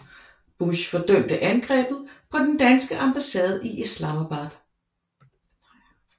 Bush fordømte angrebet på den danske ambassade i Islamabad